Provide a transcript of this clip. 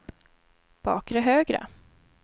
bakre högra